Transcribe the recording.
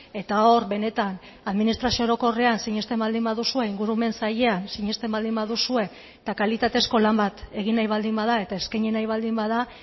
eta hor benetan administrazio orokorrean sinesten baldin baduzue ingurumen sailean sinesten baldin baduzue eta kalitatezko lan bat egin nahi baldin bada eta eskaini nahi baldin bada